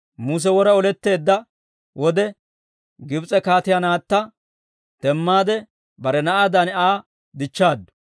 Muse wora oletteedda wode, Gibs'e kaatiyaa naatta demmaade bare na'aadan Aa dichchaaddu.